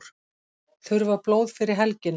Þurfa blóð fyrir helgina